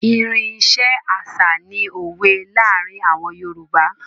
Irin iṣẹ́ àṣà ni òwe láàárín àwọn Yorùbá.